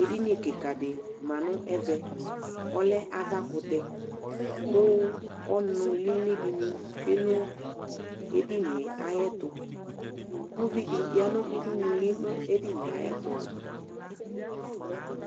ɛdinikika di mɑɴéme ɔle ɑvakuté ku ɔnulilidini tsuenu ɛdinieayeto ʊvidiyanu yɑ nʊoudunuli nedinieyayeto